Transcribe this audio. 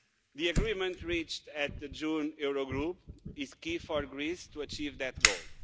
The agreement reached at the June Eurogroup is key for Greece to achieve that goal.